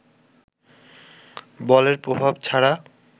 বলের প্রভাব ছাড়া